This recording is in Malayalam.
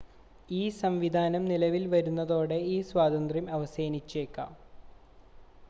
ഈ സംവിധാനം നിലവിൽ വരുന്നതോടെ ഈ സ്വാതന്ത്ര്യം അവസാനിച്ചേക്കാം